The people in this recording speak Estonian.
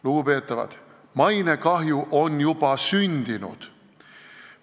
Lugupeetavad, mainekahju on juba sündinud!